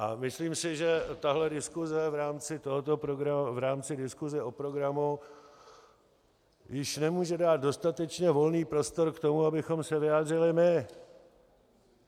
A myslím si, že tahle diskuse v rámci tohoto programu, v rámci diskuse o programu, již nemůže dát dostatečně volný prostor k tomu, abychom se vyjádřili my.